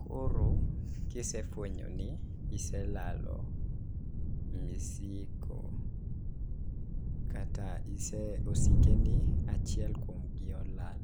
Koro kisefwenyo ni iselalo misigo kata ise osike ni achiel kuom gi olal